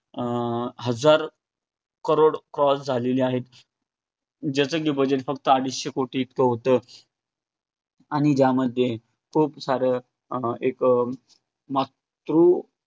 अं हजार crorescross झालेले आहेत ज्याच की bugdet फक्त अडीचशे कोटी इतकं होतं. आणि ज्यामध्ये खूप सारं एक अं मातृ